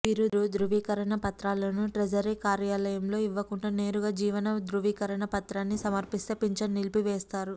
వీరు ధృవీకరణ పత్రాలను ట్రెజరీ కార్యాలయంలో ఇవ్వకుండా నేరుగా జీవన ధృవీకరణ పత్రాన్ని సమర్పిస్తే పింఛన్ నిలిపివేస్తారు